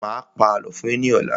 Mà á pa àlọ́ fún yín ní ọ̀la.